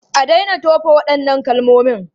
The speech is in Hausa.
A daina tofa waɗannan kalmomin!